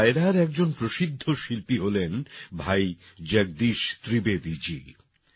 এই ডায়রার একজন প্রসিদ্ধ শিল্পী হলেন ভাই জগদীশ ত্রিবেদীজী